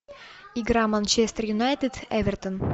игра манчестер юнайтед эвертон